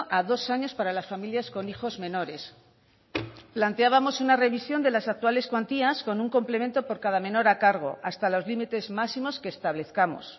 a dos años para las familias con hijos menores planteábamos una revisión de las actuales cuantías con un complemento por cada menor a cargo hasta los límites máximos que establezcamos